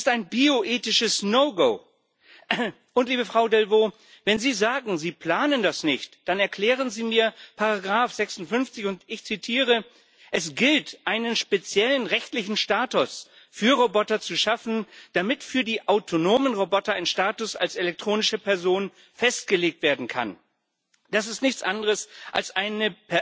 Das ist ein bioethisches No Go Liebe Frau Delvaux, wenn Sie sagen, Sie planen das nicht, dann erklären Sie mir Ziffer 56 und ich zitiere Es gilt, einen speziellen rechtlichen Status für Roboter zu schaffen, damit für die autonomen Roboter ein Status als elektronische Person festgelegt werden kann. Das ist nichts anderes als ein